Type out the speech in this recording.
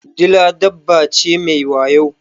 Dila dabba ce mai wayo.